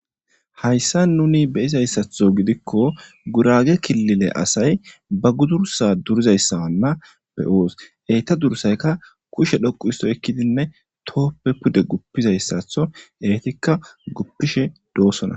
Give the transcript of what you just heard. Hayssa nuni beyizayssaththo gidikko gurage killile asay ba gurgesa durizayssawanna be'oos eyta dursayka kushe dhoqu isto ekkidinne tooppe pude guppizayssatho eetikka guppishe doossona